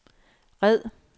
red